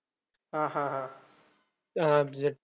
हा हा हा. अं